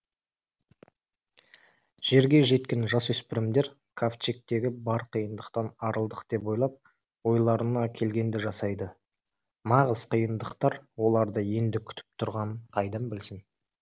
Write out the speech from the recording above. жерге жеткен жасөспірмдер кавчегтегі бар қиыныдқтан арылдық деп ойлап ойларына келгенді жасайды нағыз қиыныдқтар оларды енді күтіп тұрғанын қайдан білсін